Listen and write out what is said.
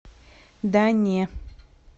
да не